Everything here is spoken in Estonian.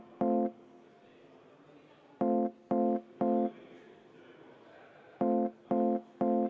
Henn Põlluaas, palun!